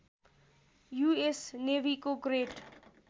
US नेवीको great